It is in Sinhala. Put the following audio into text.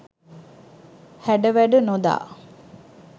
හැඩ වැඩ නොදා